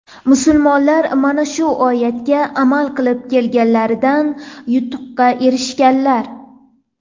Musulmonlar mana shu oyatga amal qilib kelganlarida yutuqqa erishganlar.